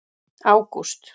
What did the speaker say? ágúst